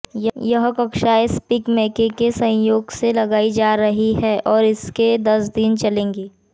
यह कक्षायें SPIC MACAY के सहयोग से लगाई जा रही हैं और दस दिन चलेंगी